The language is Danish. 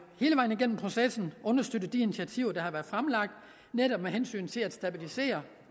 hele vejen igennem processen understøttet de initiativer der har været fremlagt netop med hensyn til at stabilisere